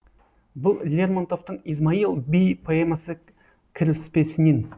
бұл лермонтовтың измаил бей поэмасы кіріспесінен